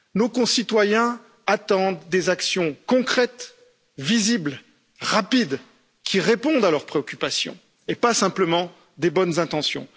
Nos concitoyens attendent des actions concrètes, visibles, rapides et qui répondent à leurs préoccupations, et pas simplement de bonnes intentions.